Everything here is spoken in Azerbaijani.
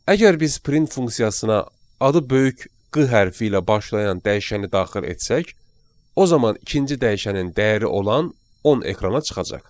Əgər biz print funksiyasına adı böyük q hərfi ilə başlayan dəyişəni daxil etsək, o zaman ikinci dəyişənin dəyəri olan 10 ekrana çıxacaq.